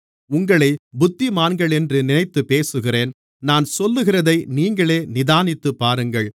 உங்களைப் புத்திமான்களென்று நினைத்துப்பேசுகிறேன் நான் சொல்லுகிறதை நீங்களே நிதானித்துப்பாருங்கள்